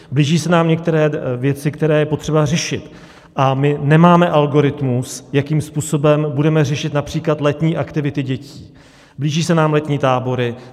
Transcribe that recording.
Blíží se nám některé věci, které je potřeba řešit, a my nemáme algoritmus, jakým způsobem budeme řešit například letní aktivity dětí, blíží se nám letní tábory.